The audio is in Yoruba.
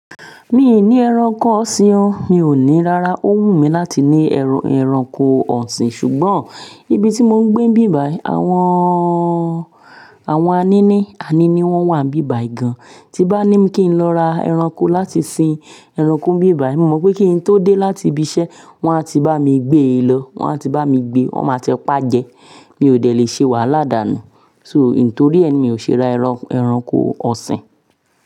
Mi ò ní ẹranko ọ̀sìn o, mi ò ní rárá. Ó wù mí láti ní eran ẹranko ọ̀sìn ṣùgbọ́n níbi tí mò ń gbé, bíbà, àwọn, àwọn anini, anini wọ́n wà bíbà yi gan. Tí bá ní kí n lọ ra ẹranko láti sin ẹranko n bíbà yi, mo mọ̀ pé kí n tó dé láti ibi iṣẹ́, wọ́n á ti bá mi gbé e lọ, wọ́n á ti bá mi gbé, wọ́n máa ti pá jẹ. Mi ò dẹ̀ le ṣe wàhálà dànù. So nítorí ẹni mi ò ṣe ra ẹran ẹranko ọ̀sìn.